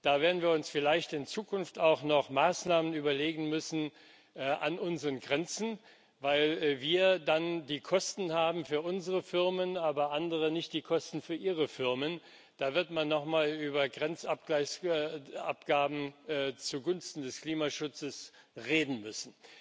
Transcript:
Da werden wir uns vielleicht in Zukunft auch noch Maßnahmen überlegen müssen an unseren Grenzen, weil wir dann die Kosten haben für unsere Firmen, aber andere nicht die Kosten für ihre Firmen haben. Da wird man nochmal über Grenzabgaben zugunsten des Klimaschutzes reden müssen.